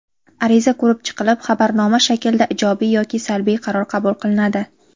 Ariza ko‘rib chiqilib xabarnoma shaklda ijobiy yoki salbiy qaror qabul qilinadi.